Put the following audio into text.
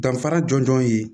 Danfara jɔnjɔn ye